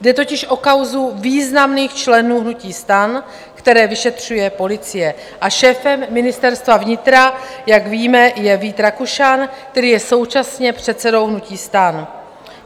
Jde totiž o kauzu významných členů hnutí STAN, které vyšetřuje policie, a šéfem Ministerstva vnitra, jak víme, je Vít Rakušan, který je současně předsedou hnutí STAN.